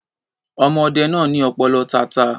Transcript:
Ọmọ ọdẹ náà ní ọ̀pọ̀lọpọ̀ tata.